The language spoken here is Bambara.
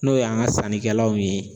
N'o y'an ka sannikɛlaw ye